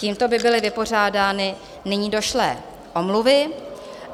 Tímto by byly vypořádány nyní došlé omluvy.